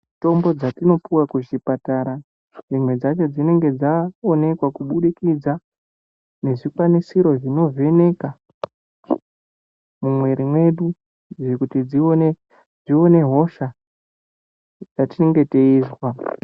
Mitombo dzatinopuwa kuzvipatara dzimwe dzacho dzinenga dzaonekwa kuburikidza nezvikwanisiro zvinovheneka mumwiri mwedu kuti zvione hosha yatinenge teizwa.